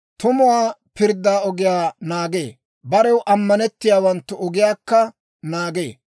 Tumuwaa pirddaa ogiyaa naagee; barew ammanettiyaawanttu ogiyaakka naagee.